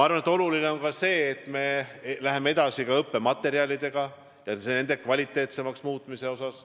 Ja oluline on ka see, et me läheme edasi õppematerjalide kvaliteetsemaks muutmisel.